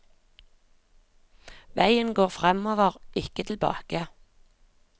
Veien går framover, ikke tilbake.